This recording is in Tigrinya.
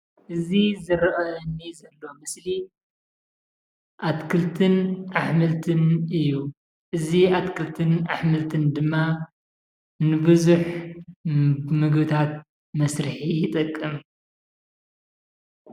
እዚ ዝረአየኒ ዘሎ ምስሊ ኣትክልትን ኣሕምልትን እዩ፡፡ እዚ ኣትክልትን ኣሕምልትን ድማ ንቡዙሕ ምግብታት መስርሒ ይጠቅም፡፡